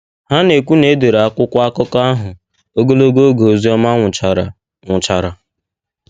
Ha na - ekwu na e dere akwụkwọ akụkọ ahụ ogologo oge Ozioma nwụchara nwụchara.